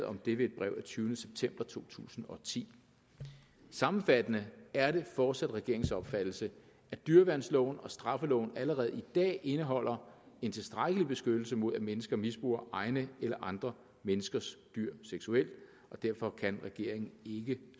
om det ved brev af tyvende september to tusind og ti sammenfattende er det fortsat regeringens opfattelse at dyreværnsloven og straffeloven allerede i dag indeholder en tilstrækkelig beskyttelse mod at mennesker misbruger egne eller andre menneskers dyr seksuelt og derfor kan regeringen ikke